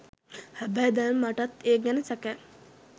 හැබැයි දැන් මටත් ඒ ගැන සැකයි